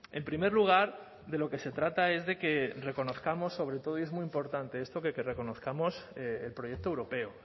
en primer lugar de lo que se trata es de que reconozcamos sobre todo y es muy importante esto de que reconozcamos el proyecto europeo